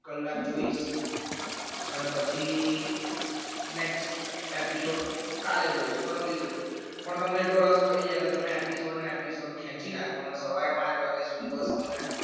કલાક જોઈશ અને પછી next episode કાલે જોઈશ પરમ દિવસે જોઈ પણ તમને એટલો રસ પડી જાય એટલે તમે episode ના episode ખેંચી નાખવાના સવારે વાગ્યા સુધી બસ તમે